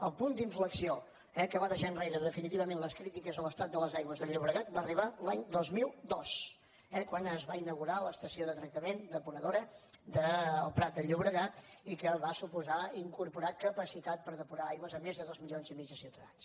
el punt d’inflexió que va deixar enrere definitivament les crítiques a l’estat de les aigües del llobregat va arribar l’any dos mil dos quan es va inaugurar l’estació de tractament depuradora del prat de llobregat i que va suposar incorporar capacitat per depurar aigües a més de dos milions i mig de ciutadans